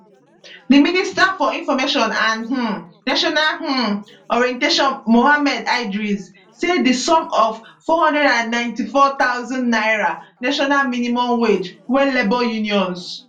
di minister for information and um national um orientation mohammed idris say di sum of n494000 national minimum wage wey labour unions